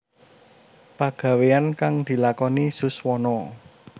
Pagaweyan kang dilakoni Suswono